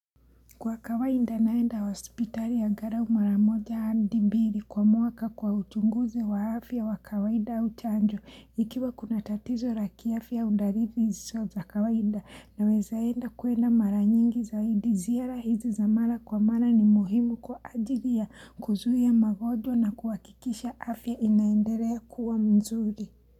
Kwa kawaida naenda wa hospitali ya angalau maramoja hadi mbiri kwa mwaka kwa uchunguzi wa afya wa kawaida uchanjo ikiwa kuna tatizo na ya kiafya uu dalili zisoza kawaida nawezaenda kuenda mara nyingi zaidi ziara hizi zamara kwa mara ni muhimu kwa ajili ya kuzuia magonjwa na kuhakikisha afya inaenderea kuwa mzuri.